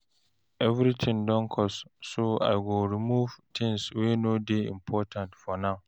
Everything don cost, so I go remove things wey no dey important for now.